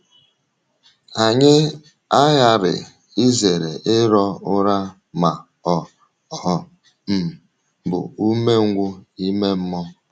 Anyị aghàrị izèré ìrò ụ̀rā ma ọ ọ um bụ ùmèngwù ime mmụọ.